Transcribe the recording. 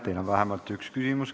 Teile on vähemalt üks küsimus.